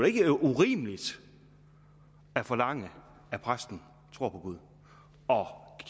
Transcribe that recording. ikke urimeligt at forlange at præsten tror på gud